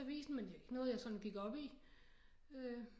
Avisen men det var ikke noget jeg sådan gik op i